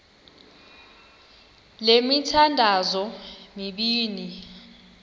le mithandazo mibini